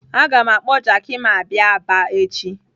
Aga m akpọ Jaki m abịa Aba echi.